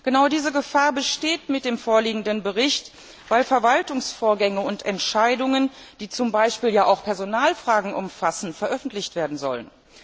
Genau diese Gefahr besteht mit dem vorliegenden Bericht, weil Verwaltungsvorgänge und Entscheidungen, die zum Beispiel ja auch Personalfragen umfassen, veröffentlicht werden sollen.